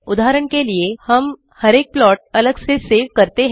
उदाहरण के लिए हम हर एक प्लाट अलग से सेव कर सकते हैं